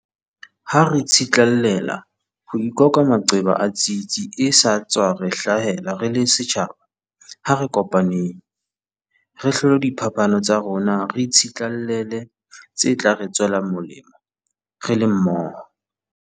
Ha re tsitlallela ho ikoka maqeba a tsietsi e sa tswa re hlahela re le setjhaba, ha re kopaneng. Re hlole diphapano tsa rona re tsitlallele tse tla re tswela molemo re le mmoho.